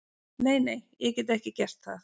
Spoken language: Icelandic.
Nei, nei, ég get ekki gert það.